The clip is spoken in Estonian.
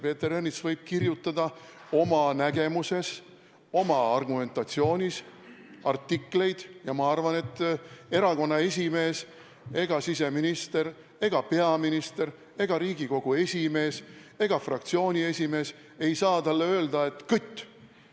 Peeter Ernits võib kirjutada oma nägemusest lähtuvaid, oma argumentatsioonil põhinevaid artikleid ja ma arvan, et ei erakonna esimees ega siseminister ega peaminister ega Riigikogu esimees ega fraktsiooni esimees saa talle öelda: "Kõtt!